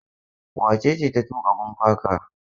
Wace ce ta tuƙa bumper car?